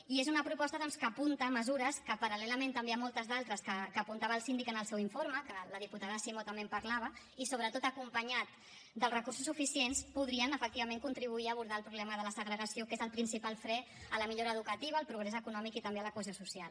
i és una proposta doncs que apunta mesures que paral·lelament també a moltes d’altres que apuntava el síndic en el seu informe que la diputada simó també en parlava i sobretot acompanyat dels recursos suficients podrien efectivament contribuir a abordar el problema de la segregació que és el principal fre a la millora educativa al progrés econòmic i també a la cohesió social